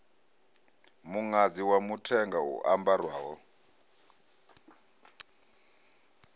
muṅadzi wa mithenga u ambarwaho